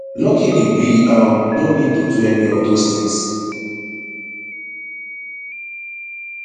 luckily we um no need to do any of dos tins